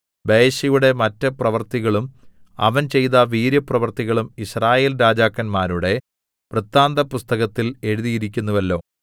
ബയെശയുടെ മറ്റ് പ്രവൃത്തികളും അവൻ ചെയ്ത വീര്യപ്രവൃത്തികളും യിസ്രായേൽ രാജാക്കന്മാരുടെ വൃത്താന്തപുസ്തകത്തിൽ എഴുതിയിരിക്കുന്നുവല്ലോ